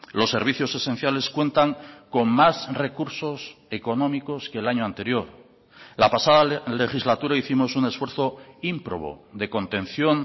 los servicios esenciales cuentan con más recursos económicos que el año anterior la pasada legislatura hicimos un esfuerzo ímprobo de contención